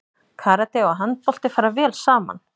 Karate og handbolti fara vel saman